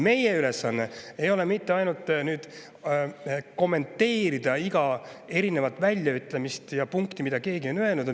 Meie ülesanne ei ole ainult kommenteerida igat väljaütlemist ja, mida keegi on öelnud.